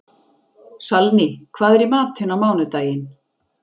Salný, hvað er í matinn á mánudaginn?